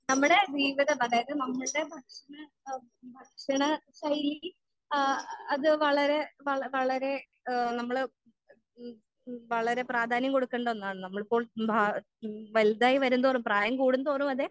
നമ്മടെ ജീവിതം അതായത് നമ്മൾടെ ഭക്ഷണ ആ ഭക്ഷണ ശൈലി ആ അത് വളരെ വള വളരെ ഏഹ് നമ്മൾ വളരെ പ്രാധാന്യം കൊടുക്കണ്ട ഒന്നാണ് നമ്മളിപ്പോൾ മാ വലുതായി വരുംതോറും പ്രായം കൂടുതോറും അതെ